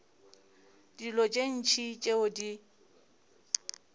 dilo tše ntši tšeo di